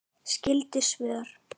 Skyld svör